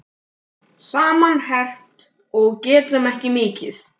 Saman herpt og getum ekki mikið.